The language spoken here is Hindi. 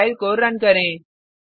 अब फाइल को रन करें